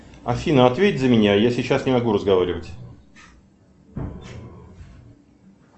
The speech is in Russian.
афина ответь за меня я сейчас не могу разговаривать